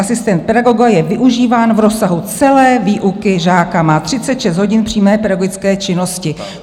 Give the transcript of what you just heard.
Asistent pedagoga je využíván v rozsahu celé výuky žáka, má 36 hodin přímé pedagogické činnosti.